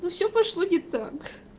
но всё пошло не так